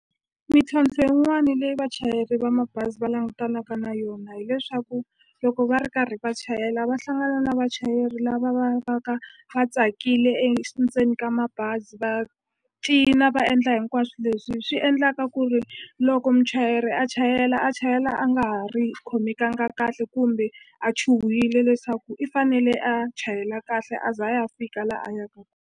Mintlhontlho yin'wani leyi vachayeri va mabazi va langutanaka na yona hileswaku loko va ri karhi va chayela va hlangana na vachayeri lava va va ka va tsakile ndzeni ka mabazi va cina va endla hinkwaswo leswi swi endlaka ku ri loko muchayeri a chayela a chayela a nga ha ri khomekanga kahle kumbe a chuhile leswaku i fanele a chayela kahle a za a ya fika la a yaka.